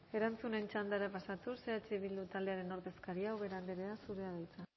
erantzunen txandara pasatuz eh bildu taldearen ordezkaria ubera andrea zurea da hitza